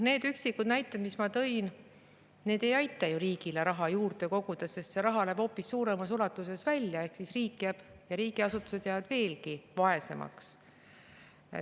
Need üksikud näited, mis ma tõin, ei aita ju riigile raha juurde koguda, sest raha läheb hoopis suuremas ulatuses välja ehk riik ja riigiasutused jäävad veelgi vaesemaks.